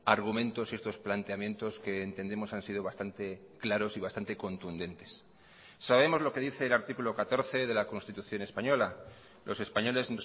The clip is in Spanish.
argumentos y estos planteamientos que entendemos han sido bastante claros y bastante contundentes sabemos loque dice el artículo catorce de la constitución española los españoles